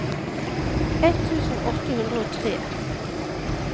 ett tusen åtte hundre og tre